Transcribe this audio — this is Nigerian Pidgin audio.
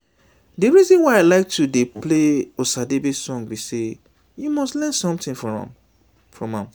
the reason why i like to dey play osadebe song be say you must learn something from am